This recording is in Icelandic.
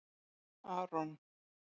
Aron